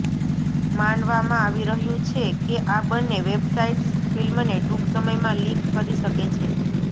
માનવામાં આવી રહ્યું છે કે આ બંને વેબસાઇટ્સ ફિલ્મને ટૂંક સમયમાં લીક કરી શકે છે